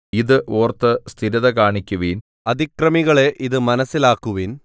ഇത് ഓർത്ത് സ്ഥിരത കാണിക്കുവിൻ അതിക്രമികളെ ഇതു മനസ്സിലാക്കുവിൻ